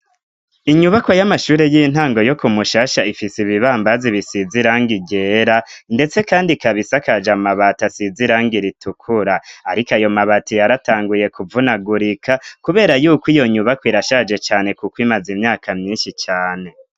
inyubakwa y'amashuri y'intango yo ku mushasha ifise ibibambazi bisizirang igera ndetse kandi ikabisa akaja amabati asizirang iritukura ariko ayo mabati yaratanguye kuvunagurika kubera yuko iyo nyubako irashaje cyane kuko imaze imyaka myinshi cyane